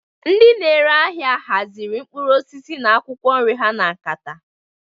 Ndị na-ere ahịa haziri mkpụrụ osisi na akwụkwọ nri ha na nkata.